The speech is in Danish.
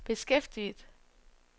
beskæftiget